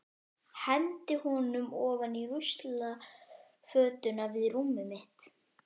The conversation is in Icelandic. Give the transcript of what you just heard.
Hendi honum ofan í ruslafötuna við rúmið mitt.